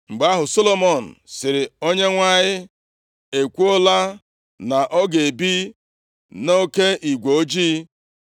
Mgbe ahụ, Solomọn sịrị, “ Onyenwe anyị ekwuola na ọ ga-ebi nʼoke igwe ojii.